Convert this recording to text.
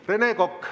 Rene Kokk.